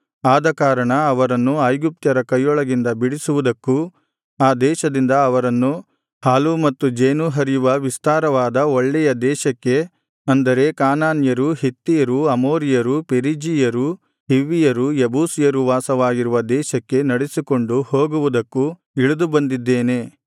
ಆದಕಾರಣ ಅವರನ್ನು ಐಗುಪ್ತ್ಯರ ಕೈಯೊಳಗಿಂದ ಬಿಡಿಸುವುದಕ್ಕೂ ಆ ದೇಶದಿಂದ ಅವರನ್ನು ಹಾಲೂ ಮತ್ತು ಜೇನೂ ಹರಿಯುವ ವಿಸ್ತಾರವಾದ ಒಳ್ಳೆಯ ದೇಶಕ್ಕೆ ಅಂದರೆ ಕಾನಾನ್ಯರು ಹಿತ್ತಿಯರು ಅಮೋರಿಯರು ಪೆರಿಜೀಯರು ಹಿವ್ವಿಯರು ಯೆಬೂಸಿಯರು ವಾಸವಾಗಿರುವ ದೇಶಕ್ಕೆ ನಡೆಸಿಕೊಂಡು ಹೋಗುವುದಕ್ಕೂ ಇಳಿದು ಬಂದಿದ್ದೇನೆ